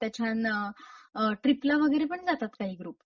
आता छान ट्रीपला वगैरे पण जातात काही ग्रुप.